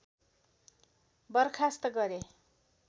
बर्खास्त गरे